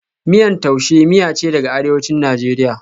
Miyan Tuase miya ce daga Arewacin Najeriya,